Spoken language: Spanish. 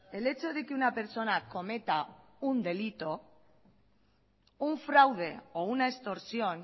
el hecho de que una persona cometa un delito un fraude o una extorsión